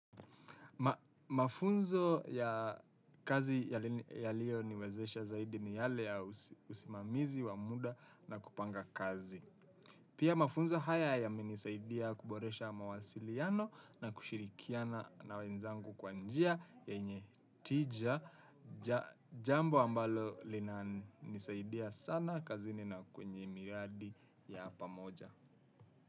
Mafunzo ya kazi yaliyo niwezesha zaidi ni yale ya usimamizi, wa muda na kupanga kazi. Pia mafunzo haya yamenisaidia kuboresha mawasiliano na kushirikiana na wenzangu kwa njia yenye tija jambo ambalo lina nisaidia sana kazini na kwenye miradi ya pamoja.